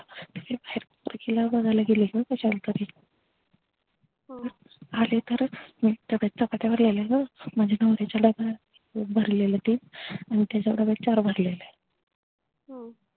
हिला बघायला गेले काश्यालातरी हो आले तर चापात्यावर लिहिलेलं माझ्या नवऱ्याच डबा भरलेलं अन त्याच्या डब्ब्यात चार भरलेल हम्म